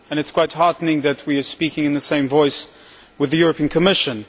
It is quite heartening that we are speaking with the same voice as the European Commission.